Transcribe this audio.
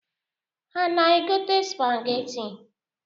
Ha ana-egote supageti?